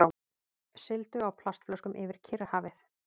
Sigldu á plastflöskum yfir Kyrrahafið